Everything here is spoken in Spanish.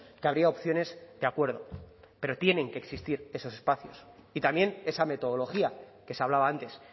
que habría opciones de acuerdo pero tienen que existir esos espacios y también esa metodología que se ha hablaba antes